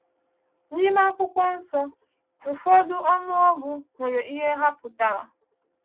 N’ime Akwụkwọ Nsọ, ụfọdụ ọnụọgụ nwere ihe ha pụtara.